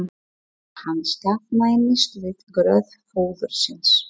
Hann staðnæmist við gröf föður síns.